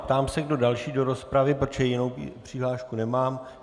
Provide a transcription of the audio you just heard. Ptám se, kdo další do rozpravy, protože jinou přihlášku nemám.